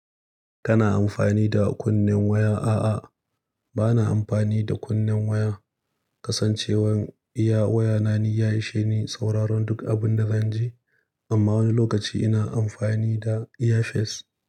Kana amfani da kunnen waya? A'a, bana amfani da kunnen waya. Kasancewar iya wayana ni ya ishe ni sauraron duk abin da zan ji. Amma wani lokaci ina amfani da earpeace.